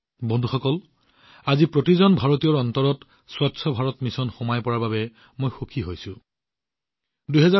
বন্ধুসকল মই সুখী যে স্বচ্ছ ভাৰত অভিযান আজি প্ৰতিজন ভাৰতীয়ৰ মনত দৃঢ়ভাৱে নিহিত হৈ পৰিছে